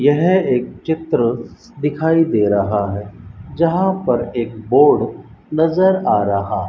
यह एक चित्र दिखाई दे रहा है जहां पर एक बोर्ड नजर आ रहा --